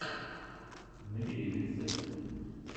набери рецепты